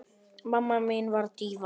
Mamma mín var díva.